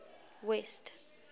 west